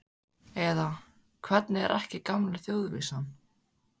Eða, hvernig er ekki gamla þjóðvísan?